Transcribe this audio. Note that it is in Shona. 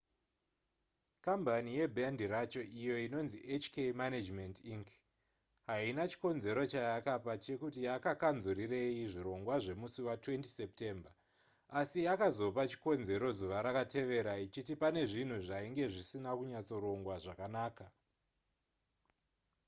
kambani yebhendi racho iyo inonzi hk management inc haina chikonzero chayakapa chekuti yakakanzurirei zvirongwa zvemusi wa20 september asi yakazopa chikonzero zuva rakatevera ichiti pane zvinhu zvainge zvisina kunyatsorongwa zvakanaka